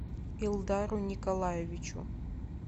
илдару николаевичу